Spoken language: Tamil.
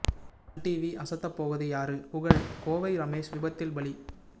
சன் டிவி அசத்தப் போவது யாரு புகழ் கோவை ரமேஷ் விபத்தில் பலி